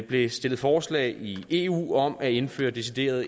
blev stillet forslag i eu om at indføre deciderede